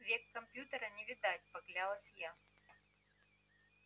век компьютера не видать поклялась я